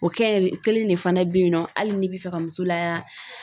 O kɛ o kelen de fana bɛ yen nɔ hali ni bi fɛ ka muso la